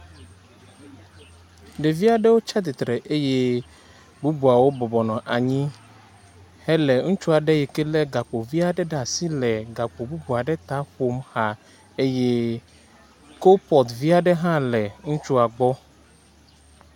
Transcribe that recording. Ɖevi aɖewo tsi atsitre eye bubu aɖewo bɔbɔnɔ anyi hele ŋutsu aɖe yi ke le gakpo vi aɖe ɖe asi hele gakpo bubu aɖe ta ƒom xa eye kopɔt aɖe le ŋutsua gbɔ.